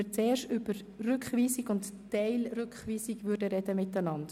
Zuerst sprechen wir über die Rückweisung und die Teilrückweisung.